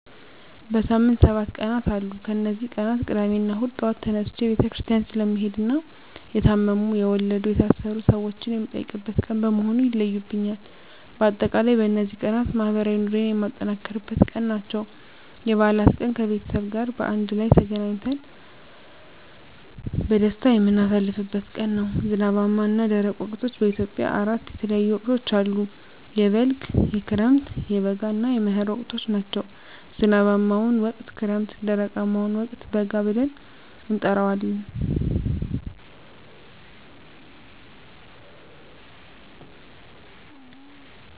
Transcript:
በሳምንት ሰባት ቀናት አሉ ከነዚህ ቀናት ቅዳሜና እሁድ ጧት ተነስቸ ቤተክርስቲያን ስለምሄድና የታመሙ፣ የወለዱ፣ የታሰሩ ሰወችን የምጠይቅበት ቀን በመሆኑ ይለዩብኛል። በአጠቃላይ በነዚህ ቀናት ማህበራዊ ኑሮየን የማጠናክርበት ቀን ናቸው። *የበዓላት ቀን፦ ከቤተሰብ ጋር በአንድ ላይ ተገናኝተን በደስታ የምናሳልፍበት ቀን ነው። *ዝናባማና ደረቅ ወቅቶች፦ በኢትዮጵያ አራት የተለያዩ ወቅቶች አሉ፤ የበልግ፣ የክረምት፣ የበጋ እና የመህር ወቅቶች ናቸው። *ዝናባማውን ወቅት ክረምት *ደረቃማውን ወቅት በጋ ብለን እንጠራዋለን።